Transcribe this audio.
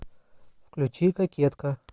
включи кокетка